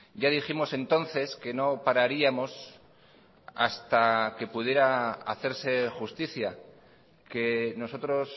ya dijimos entonces que no pararíamos hasta que pudiera hacerse justicia que nosotros